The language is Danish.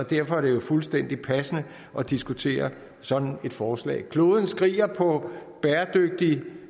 derfor er det fuldstændig passende at diskutere sådan et forslag kloden skriger på bæredygtig